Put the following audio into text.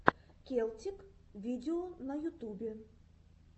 келтик видео на ютубе